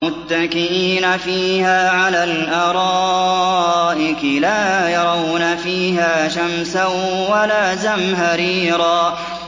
مُّتَّكِئِينَ فِيهَا عَلَى الْأَرَائِكِ ۖ لَا يَرَوْنَ فِيهَا شَمْسًا وَلَا زَمْهَرِيرًا